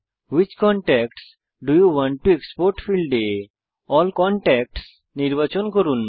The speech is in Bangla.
which contacts do you want to export ফীল্ডে এএলএল কনট্যাক্টস নির্বাচন করুন